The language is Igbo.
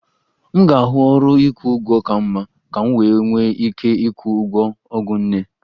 M ga-ahụ ọrụ ịkwụ ụgwọ ka mma ka m wee nwee ike ịkwụ ụgwọ ọgwụ nne